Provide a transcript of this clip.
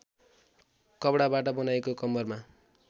कपडाबाट बनाइएको कम्मरमा